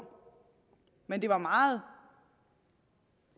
men det var meget